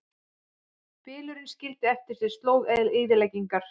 Bylurinn skildi eftir sig slóð eyðileggingar